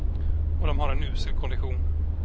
Och de har en usel kondition.